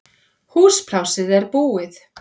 Húsplássið er búið